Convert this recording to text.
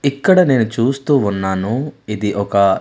ఇక్కడ నేను చూస్తూ ఉన్నాను ఇది ఒక--